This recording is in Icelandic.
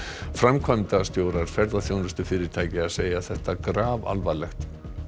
framkvæmdastjórar ferðaþjónustufyrirtækja segja þetta grafalvarlegt